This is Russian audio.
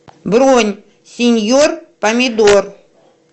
бронь сеньор помидор